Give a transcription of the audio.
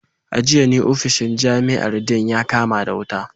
A jiya ne ofishin jami’ar Dean ya kama wuta